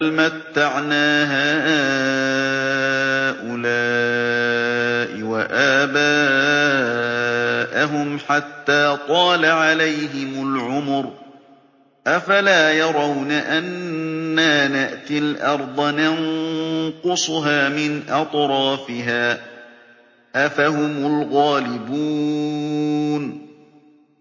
بَلْ مَتَّعْنَا هَٰؤُلَاءِ وَآبَاءَهُمْ حَتَّىٰ طَالَ عَلَيْهِمُ الْعُمُرُ ۗ أَفَلَا يَرَوْنَ أَنَّا نَأْتِي الْأَرْضَ نَنقُصُهَا مِنْ أَطْرَافِهَا ۚ أَفَهُمُ الْغَالِبُونَ